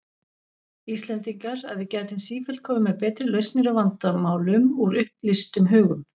Íslendingar, að við gætum sífellt komið með betri lausnir á vandamálum, úr upplýstum hugum.